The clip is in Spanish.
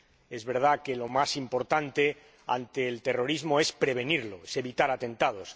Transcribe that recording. Es verdad que lo más importante ante el terrorismo es prevenirlo es evitar atentados.